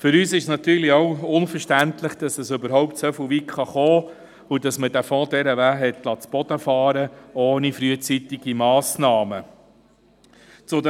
Für uns ist es natürlich unverständlich, dass es überhaupt so weit kommen konnte, und dass man es zuliess, dass dieser Fonds dermassen zu Boden gefahren wurde, ohne rechtzeitig Massnahmen zu ergreifen.